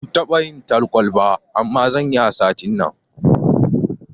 Ban taɓa yin talkwal ba, amma zanyi a satin nan.